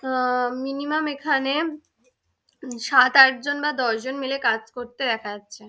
অ্যা minimum এখানে সাত আট জন বা দশ জন মিলে কাজ করতে দেখা যাচ্ছে।